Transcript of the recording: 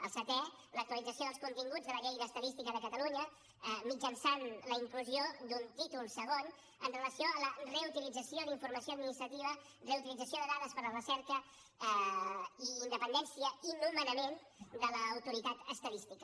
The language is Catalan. el setè l’actualització dels continguts de la llei d’estadística de catalunya mitjançant la inclusió d’un títol segon amb relació a la reutilització d’informació administrativa reutilització de dades per a la recerca i independència i nomenament de l’autoritat estadística